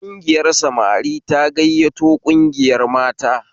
Kungiyar samari ta gayyato kungiyar mata